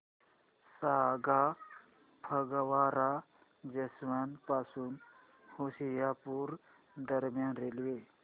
सांगा फगवारा जंक्शन पासून होशियारपुर दरम्यान रेल्वे